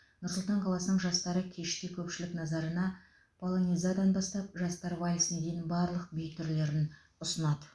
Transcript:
нұр сұлтан қаласының жастары кеште көпшілік назарына полонезадан бастап жастар вальсіне дейін барлық би түрлерін ұсынады